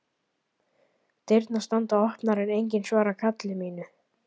Dyrnar standa opnar en enginn svarar kalli mínu.